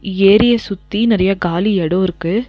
ஏறிய சுத்தி நெறைய காலி எடோ இருக்கு.